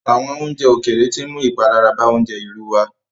Àwọn oúnjẹ ókéré tí ń mú ìpalára bàa oúnjẹ ìlú wá.